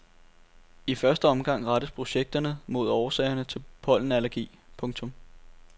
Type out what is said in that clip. I første omgang rettes projekterne mod årsagerne til pollenallergi. punktum